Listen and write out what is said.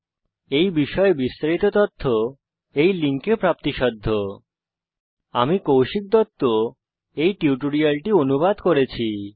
এই বিষয় বিস্তারিত তথ্য এই লিঙ্কে প্রাপ্তিসাধ্য spoken hyphen tutorial dot org slash NMEICT hyphen intro আমি কৌশিক দত্ত এই টিউটোরিয়ালটি অনুবাদ করেছি